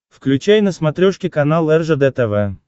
включай на смотрешке канал ржд тв